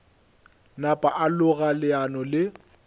napa a loga leano le